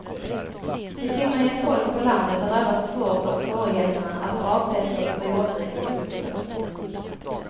I synnerhet folk på landet har drabbats svårt av svårigheterna att få avsättning för jordbruksprodukter.